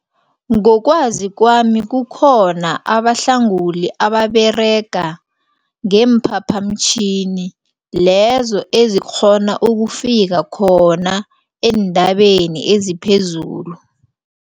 Ngokwazi kwami kukhona abahlanguli ababerega ngeemphaphamtjhini lezo ezikghona ukufika khona entabeni eziphezulu.